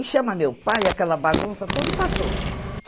E chama meu pai, aquela bagunça toda, e passou.